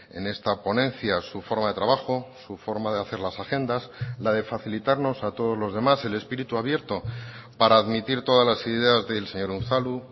en esta ponencia su forma de trabajo su forma de hacer las agendas la de facilitarnos a todos los demás el espíritu abierto para admitir todas las ideas del señor unzalu